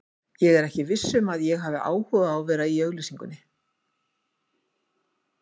Ég er ekkert viss um að ég hafi áhuga á að vera í auglýsingum.